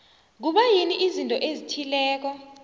kubayini izinto ezithileko